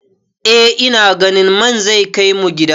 Eh ina ganin man zai kai mu gida.